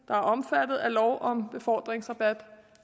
der er omfattet af lov om befordringsrabat